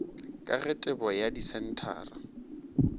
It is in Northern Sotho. ka ge tebo ya disenthara